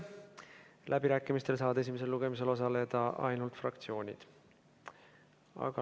Läbirääkimistel saavad esimesel lugemisel osaleda ainult fraktsioonid.